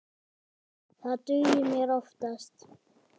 Það dugir mér oftast.